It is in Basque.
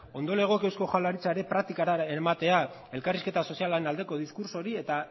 ondo legoke eusko jaurlaritza ere praktikara eramatea elkarrizketa sozialaren aldeko diskurtso hori eta